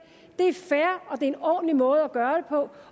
en ordentlig måde gøre